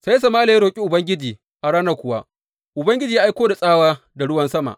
Sai Sama’ila ya roƙi Ubangiji, a ranar kuwa Ubangiji ya aiko da tsawa da ruwan sama.